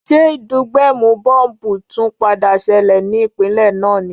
Ṣé ìdúgbẹ̀mù bọ́m̀bù tún padà ṣẹlẹ̀ ní ìpínlè náà ni?